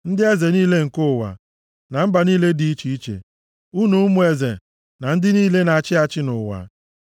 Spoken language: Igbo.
ndị eze niile nke ụwa na mba niile dị iche iche, unu ụmụ eze na ndị niile na-achị achị nʼụwa,